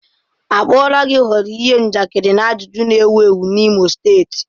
A kpuola gi ghọrọ ihe njakịrị na ajụjụ na-ewu ewu n'Imo steeti.